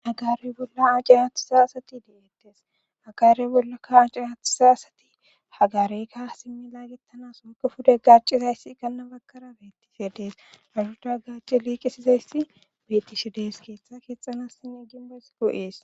Hagaarey bolla aace haathusa asati de7eettes hagarey bolla ka aaci aathusa asati hagareyka simmi laagettanas wokka fude gacizayssi ganna bakara bettise dees auhuda gaaci liiqisizayssi betish dees keeththa keexanas sin ginboys goo7ees